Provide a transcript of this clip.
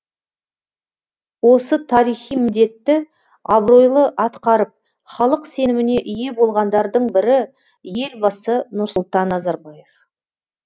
осы тарихи міндетті абыройлы атқарып халық сеніміне ие болғандардың бірі елбасы нұрсұлтан назарбаев